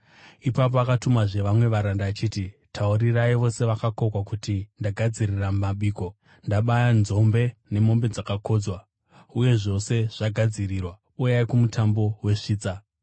“Ipapo akatumazve vamwe varanda achiti, ‘Taurirai vose vakakokwa kuti ndagadzirira mabiko: Ndabaya nzombe nemombe dzakakodzwa uye zvose zvagadzirirwa. Uyai kumutambo wesvitsa.’